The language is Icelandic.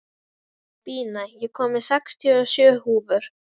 Bína, ég kom með sextíu og sjö húfur!